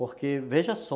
Porque, veja só,